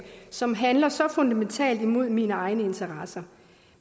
som handler så fundamentalt imod mine egne interesser